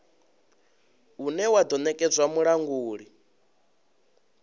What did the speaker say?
une wa do nekedzwa mulanguli